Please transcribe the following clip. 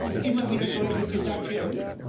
Das muss immer wieder deutlich gesagt werden!